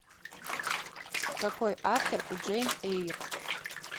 какой автор у джейн эйр